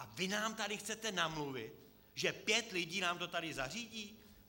A vy nám tady chcete namluvit, že pět lidí nám to tady zařídí?